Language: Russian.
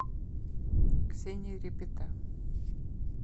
ксения репета